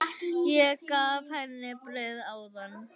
Ég gaf henni brauð áðan.